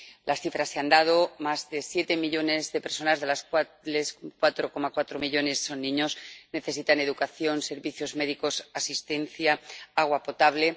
Las cifras ya se han dado más de 7 millones de personas, de las cuales 4,4 millones son niños, necesitan educación, servicios médicos, asistencia y agua potable